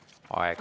Aitäh!